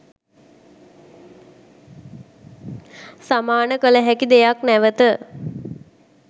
සමාන කළ හැකි දෙයක් නැවත